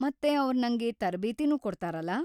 ಮತ್ತೆ ಅವ್ರ್ ನಂಗೆ ತರಬೇತಿನೂ ಕೊಡ್ತಾರಲ.